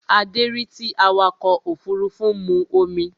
Adé rí tí awakọ̀ òfurufú mu omi